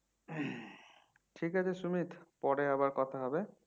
ঠিকআছে সুমিত পরে আবার কথা হবে